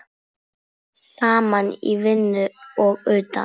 Saman í vinnu og utan.